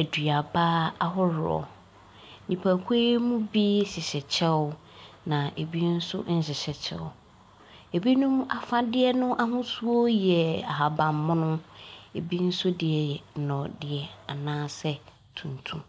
aduaba ahoroɔ. Nnipakuw yi bi hyehyɛ kyɛw. Na ebi nso nhyehyɛ kyɛw. Ebinom afade ahosuo yɛ ahabanmono. Ebi nso deɛ nɔdeɛ anaasɛ tuntum.